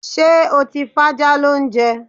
Ṣé́ o ti fájá lóúnjẹ?